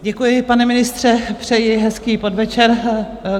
Děkuji, pane ministře, přeji hezký podvečer.